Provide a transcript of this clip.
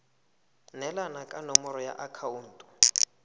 neelana ka nomoro ya akhaonto